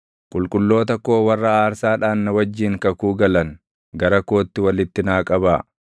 “Qulqulloota koo warra aarsaadhaan na wajjin kakuu galan, gara kootti walitti naa qabaa.”